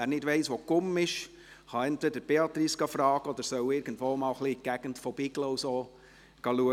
Wer nicht weiss, wo die Gumm ist, kann entweder Beatrice Eichenberger fragen oder soll mal ein bisschen in der Gegend von Biglen schauen gehen;